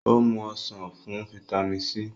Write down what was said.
o mú ọsán fún vitamin c.